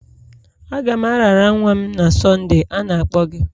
Aga m arara nwa m na Sonde, a na-akpọ gị.